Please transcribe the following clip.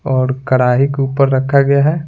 और कढ़ाही के ऊपर रखा गया है।